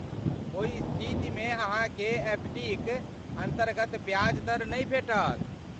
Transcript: ओहि स्थितिमे अहाँकेँ एफ डीक अन्तर्गत ब्याज दर नहि भेटत।